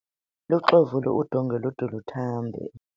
luxovule udongwe lude luthambe